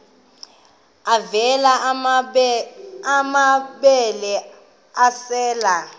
avela amabele esel